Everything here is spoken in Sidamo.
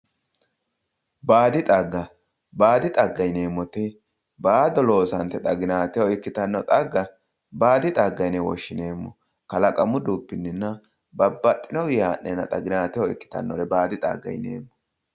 Baadi xagga baadi xagga yineemmoti baado loosante xaginateho ikkitanno xagga baadi xagga yine woshshineemmo kalaqamu dubbinninna babbaxxinoii haa'neenna xaginateho ikkitannore baadi xagga yineemmo